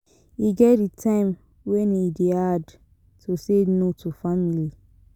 E get di time wen e dey hard to say no to family.